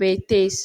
beettees.